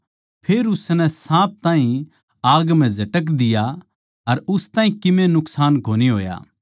फेर उसनै साँप ताहीं आग म्ह झटक दिया अर उस ताहीं कीमे नुकसान कोनी होया